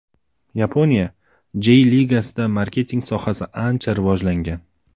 Yaponiya Jey Ligasida marketing sohasi ancha rivojlangan.